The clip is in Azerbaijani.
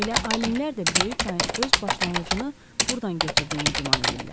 Elə alimlər də böyük çayın öz başlanğıcını burdan götürdüyünü güman edirlər.